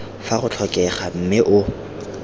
fa go tlhokega mme o